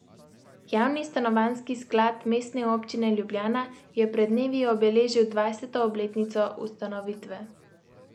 Javni stanovanjski sklad Mestne občine Ljubljana je pred dnevi obeležil dvajseto obletnico ustanovitve.